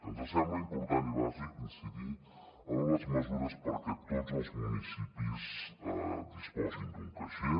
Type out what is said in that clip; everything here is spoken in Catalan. ens sembla important i bàsic incidir en les mesures perquè tots els municipis disposin d’un caixer